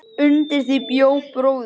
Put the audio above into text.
Undir því bjó bróðir